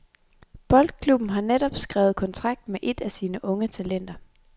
Boldklubben har netop skrevet kontrakt med et af sine unge talenter.